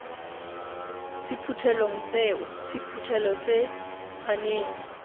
sephuthelong seo sephuthelo se tshwanetse